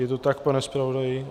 Je to tak, pane zpravodaji?